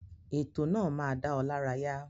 Ètò náà máa dá ọ lárayá.